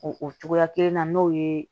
O o cogoya kelen na n'o ye